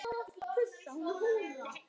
Augað sæinn ber.